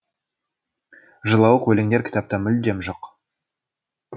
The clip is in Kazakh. жылауық өлеңдер кітапта мүлдем жоқ